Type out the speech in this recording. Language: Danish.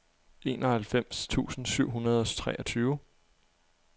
enoghalvfems tusind syv hundrede og treogtyve